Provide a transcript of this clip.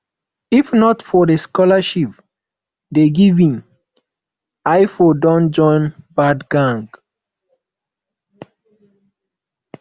if not for the scholarship dey give me i for don join bad gang